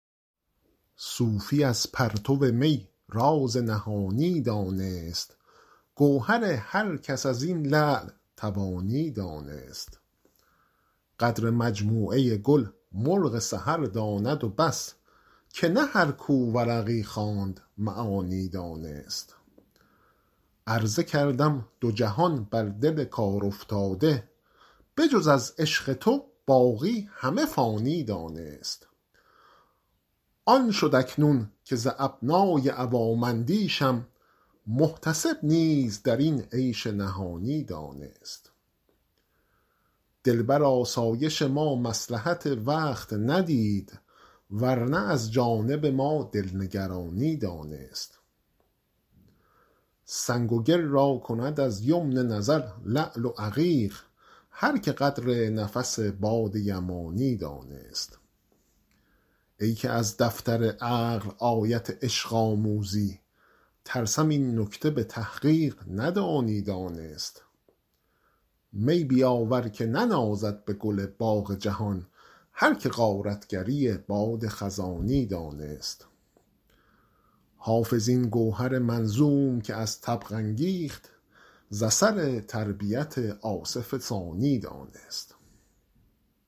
صوفی از پرتو می راز نهانی دانست گوهر هر کس از این لعل توانی دانست قدر مجموعه گل مرغ سحر داند و بس که نه هر کو ورقی خواند معانی دانست عرضه کردم دو جهان بر دل کارافتاده به جز از عشق تو باقی همه فانی دانست آن شد اکنون که ز ابنای عوام اندیشم محتسب نیز در این عیش نهانی دانست دل بر آسایش ما مصلحت وقت ندید ور نه از جانب ما دل نگرانی دانست سنگ و گل را کند از یمن نظر لعل و عقیق هر که قدر نفس باد یمانی دانست ای که از دفتر عقل آیت عشق آموزی ترسم این نکته به تحقیق ندانی دانست می بیاور که ننازد به گل باغ جهان هر که غارت گری باد خزانی دانست حافظ این گوهر منظوم که از طبع انگیخت ز اثر تربیت آصف ثانی دانست